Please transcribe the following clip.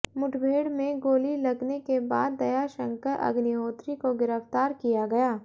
मुठभेड़ में गोली लगने के बाद दया शंकर अग्निहोत्री को गिरफ्तार किया गया